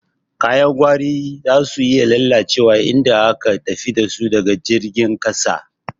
Kayan gwari zasu iya lalacewa idan aka tafi dasu ta jirgin ƙasa.